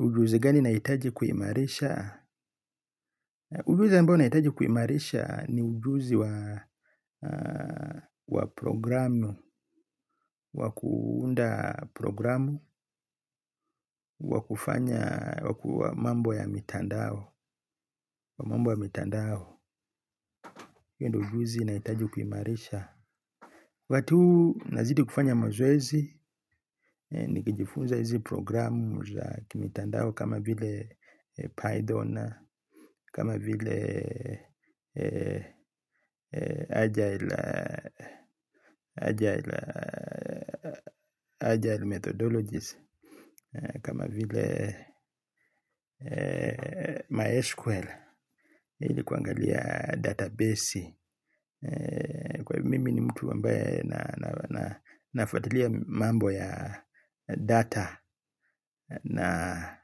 Ujuzi gani naitaji kuhimarisha? Ujuzi ambao naitaji kuhimarisha ni ujuzi wa programu, wakuunda programu, wakufanya mambo ya mitandao. Kwa mambo ya mitandao. Yendo ujuzi na itaji kumarisha. Watu nazidi kufanya mazoezi. Nikijifunza hizi programu za kimitandao kama vile Python na kama vile Agile Agile Agile methodologies. Kama vile MySQL ili kuangalia databesi. Kwa hivyo mimi ni mtu ambaye na nafuatalia mambo ya data na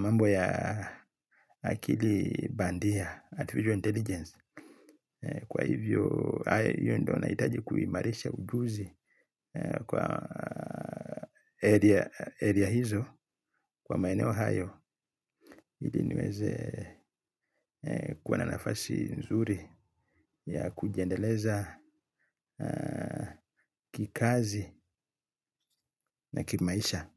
mambo ya akili bandia, artificial intelligence. Kwa hivyo ayo ndona itaji kuimarisha ujuzi kwa area hizo kwa maeneo hayo. Hili niweze kuwa na nafasi nzuri ya kujiendeleza kikazi na kimaisha.